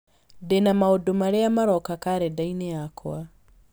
ndĩ na maũndũ marĩa maroka karenda-inĩ yakwa